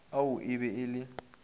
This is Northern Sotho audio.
ao e be e le